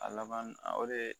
A laban o de ye